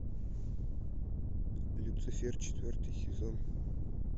люцифер четвертый сезон